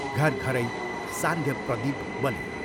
घर घरै सान्ध्य प्रदीप बले।